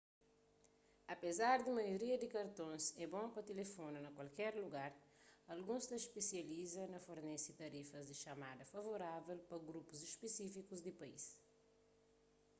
apezar di maioria di kartons é bon pa tilifona pa kualker lugar alguns ta spesializa na fornese tarifas di txamada favorável pa grupus spisífikus di país